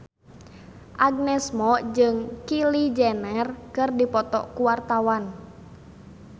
Agnes Mo jeung Kylie Jenner keur dipoto ku wartawan